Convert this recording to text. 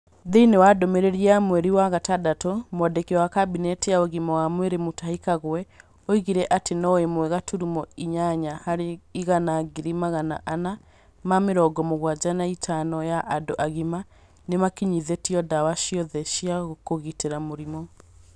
Thĩiniĩ wa ndumiriri ya mweri wa gatandatũ, Mwandiki wa Kabinete ya Ũgima wa Mwĩrĩ Mutahi Kagwe oigire atĩ no ĩmwe gaturumo inyanya harĩ igana ngiri magana ana ma mĩrongo mũgwanja na itano ya andũ agima nĩ makinyithĩtio ndawa ciothe cia kũgitĩra mũrimũ.